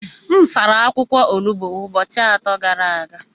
M sara akwụkwọ olugbo ụbọchị atọ gara aga.